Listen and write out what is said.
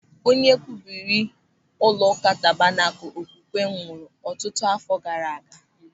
Onye wubere ụlọụka Tabanakul Okwukwe nwụrụ ọtụtụ àfọ́ gaara aga.